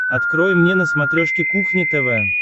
открой мне на смотрешке кухня тв